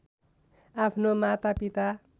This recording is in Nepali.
आफ्नो माता पिता